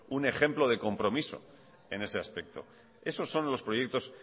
un ejemplo de compromiso en ese aspecto esos son los proyectos